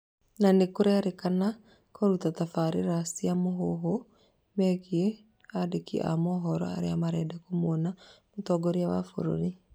Na nĩkũrerĩkana kũruta tabarĩra cia mũhuhu megiĩ andĩki a mohoro arĩa marenda kũmũona mũtongoria wa bũrũri